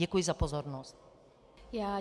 Děkuji za pozornost.